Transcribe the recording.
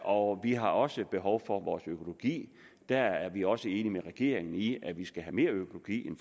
og vi har også behov for vores økologi der er vi også enige med regeringen i at vi skal mere økologi